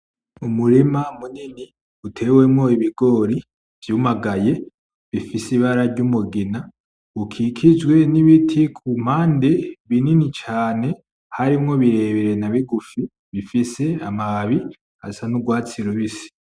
Umurima munini utewemwo ibigori vyumagaye ufis'ibara ry'umugina ukikijwe n'ibiti kumpande binini cane, harimwo birebire nabigufi, bifise amababi asa n'urwatsi rubisi.